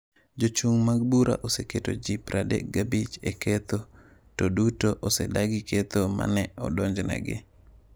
Jochung’ mag bura oseketo ji 35 e ketho to duto osedagi ketho ma ne odonjnegi.